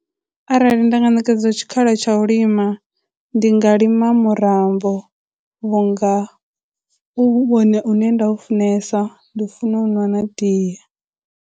Arali nda nga ṋekedzwa tshikhala tsha u lima ndi nga lima murambo vhunga hu vhone une nda u funesa, ndi funa u u ṅwana na tie.